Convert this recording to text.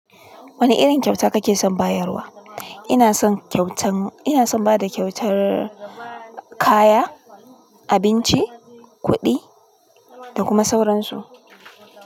Wane irin kyauta kake son bayarwa? Ina son kyautar, ina son bada kyautar kaya, abinci, kuɗi da kuma sauransu.